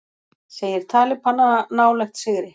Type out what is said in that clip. Segir talibana nálægt sigri